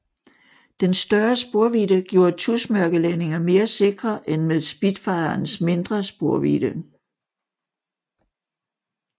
Den større sporvidde gjorde tusmørkelandinger mere sikre end med Spitfirens mindre sporvidde